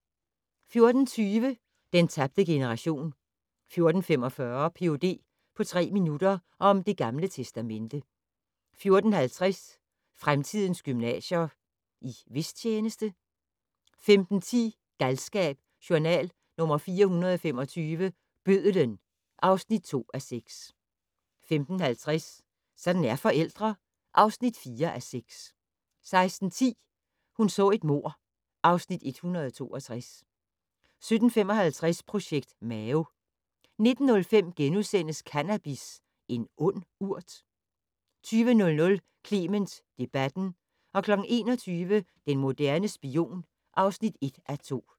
14:20: Den tabte generation 14:45: Ph.d. på tre minutter - om Det Gamle Testamente 14:50: Fremtidens gymnasier - i hvis tjeneste? 15:10: Galskab: Journal nr. 425 - Bødlen (2:6) 15:50: Sådan er forældre (4:6) 16:10: Hun så et mord (Afs. 162) 17:55: Projekt Mao 19:05: Cannabis - en ond urt? * 20:00: Clement debatten 21:00: Den moderne spion (1:2)